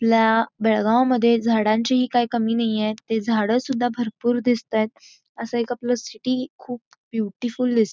आपल्या बेळगाव मध्ये झाडांची काई कमी नाही आहे इथे झाड सुद्धा भरपूर दिसत आहेत असं आपलं एक सिटी खूप बयूटीफुल्ल दिसते|